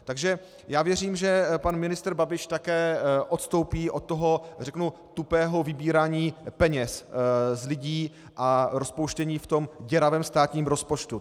Takže já věřím, že pan ministr Babiš také odstoupí od toho, řeknu, tupého vybírání peněz z lidí a rozpouštění v tom děravém státním rozpočtu.